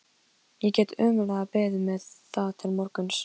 Ég get ómögulega beðið með það til morguns.